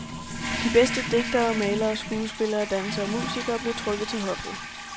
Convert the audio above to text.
De bedste digtere, malere, skuespillere, dansere og musikere blev trukket til hoffet.